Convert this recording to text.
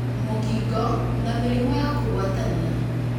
mũkingo, na mĩrimũ ya kũgwatania